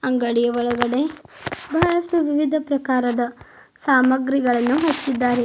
ಅಂಗಡಿ ಒಳಗಡೆ ಬಹಳಷ್ಟು ವಿವಿಧ ಪ್ರಕಾರದ ಸಾಮಾಗ್ರಿಗಳನ್ನ ಹಚ್ಚಿದ್ದಾರೆ.